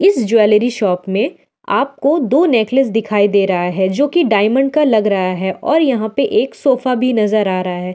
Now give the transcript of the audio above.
इस jewellery shop में आपको दो नेकलेस दिखाई दे रहा है जो कि डायमंड का लग रहा है और यहाँ पर एक शोफा भी नज़र आ रहा है।